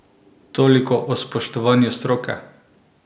Toliko o spoštovanju stroke!